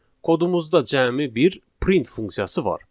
Çünki kodumuzda cəmi bir print funksiyası var.